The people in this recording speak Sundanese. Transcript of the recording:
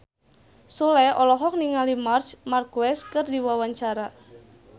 Sule olohok ningali Marc Marquez keur diwawancara